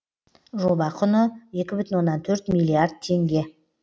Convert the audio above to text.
жоба құны екі бүтін оннан төрт миллиард теңге